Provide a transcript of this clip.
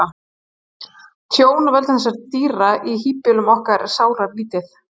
tjón af völdum þessara dýra í híbýlum okkar er sáralítið